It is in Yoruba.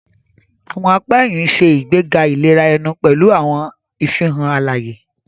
Awọn apá ẹhìn ṣe ìgbéga ìlera ẹnu pẹlu awọn ìfihàn alaye.